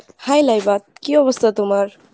High লাইভা কী অবস্থা তোমার ?